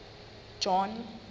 john